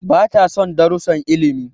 Bata son darussan ilimi.